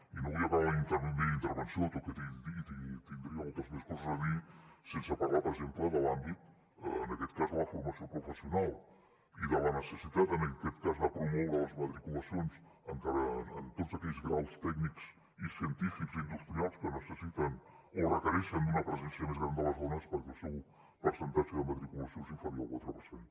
i no vull acabar la meva intervenció tot i que tindria moltes més coses a dir sense parlar per exemple de l’àmbit en aquest cas de la formació professional i de la necessitat de promoure les matriculacions en tots aquells graus tècnics i científics i industrials que necessiten o requereixen una presència més gran de les dones perquè el seu percentatge de matriculació és inferior al quatre per cent